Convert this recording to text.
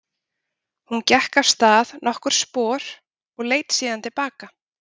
Hún gekk af stað nokkur spor og leit síðan til baka.